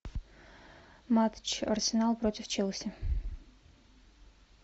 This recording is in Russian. матч арсенал против челси